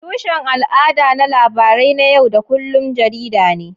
Tushen al'ada na labarai na yau da kullun jarida ne.